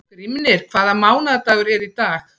Grímnir, hvaða mánaðardagur er í dag?